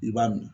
I b'a min